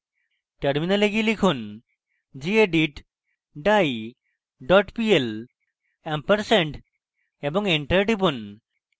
terminal go লিখুন: gedit die dot pl ampersand এবং enter টিপুন